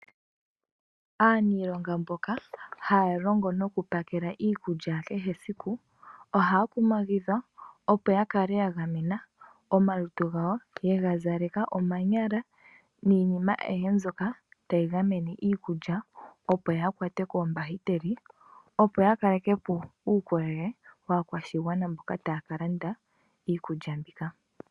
Aaniinlonga mboka haa longo nokupakela iikulya mbyono ya kehe siku, ohaa kumagidhwa opo ya kale ya gamena omalutu gawo yega zaleka nande omanyala niinima aihe mbyoka tayi keelele iikulya kaayi kwatwe koombahiteli, opo ya kalekepo uukolele waantu mboka taaka landa iikulya mbika.